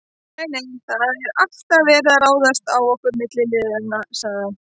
Nei, nei, það er alltaf verið að ráðast á okkur milliliðina sagði